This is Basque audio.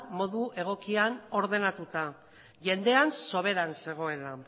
modu egokian ordenatuta jendea soberan zegoela